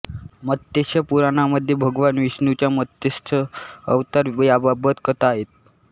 मत्स्य पुराणामध्ये भगवान विष्णूंच्या मत्स्य अवतार याबाबत कथा आहेत